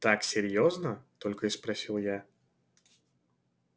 так серьёзно только и спросил я